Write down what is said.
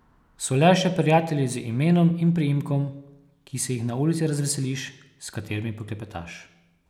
So le še prijatelji z imenom in priimkom, ki se jih na ulici razveseliš, s katerimi poklepetaš.